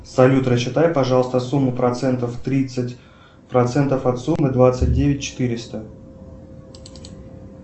салют рассчитай пожалуйста сумму процентов тридцать процентов от суммы двадцать девять четыреста